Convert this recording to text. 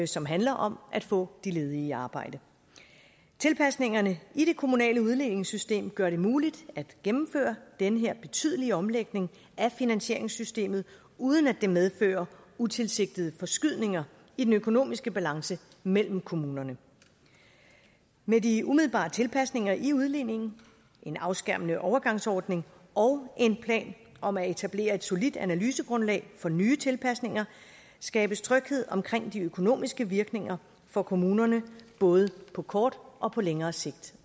som handler om at få de ledige i arbejde tilpasningerne i det kommunale udligningssystem gør det muligt at gennemføre den her betydelige omlægning af finansieringssystemet uden at det medfører utilsigtede forskydninger i den økonomiske balance mellem kommunerne med de umiddelbare tilpasninger i udligningen en afskærmende overgangsordning og en plan om at etablere et solidt analysegrundlag for nye tilpasninger skabes tryghed omkring de økonomiske virkninger for kommunerne både på kort og på længere sigt